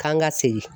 K'an ka segin